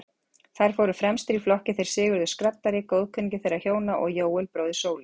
Þar fóru fremstir í flokki þeir Sigurður skraddari, góðkunningi þeirra hjóna, og Jóel, bróðir Sólu.